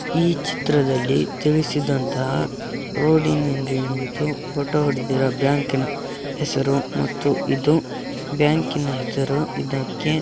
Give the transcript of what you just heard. ಈ ಚಿತ್ರದಲ್ಲಿ ತಿಳಿಸಿದಂತಹ ರೋಡಿನಿಂದ ನಿಂತು ಫೋಟೋ ಹೊಡೆದಿರೋ ಬ್ಯಾಂಕಿನ ಹೆಸರು ಮತ್ತು ಇದು ಬ್ಯಾಂಕಿನ ಹೆಸರು ಇದಕ್ಕೆ __